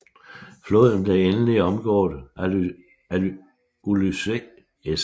Floden blev endelig omgået af Ulysses S